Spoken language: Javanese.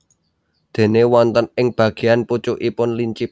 Déné wonten ing bageyan pucukipun lincip